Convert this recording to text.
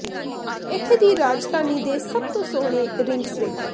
ਇੱਥੇ ਦੀ ਰਾਜਧਾਨੀ ਦੇ ਸਭ ਤੋਂ ਸੋਹਣੇ ਰਿੰਕਸ ਵੇਖੋ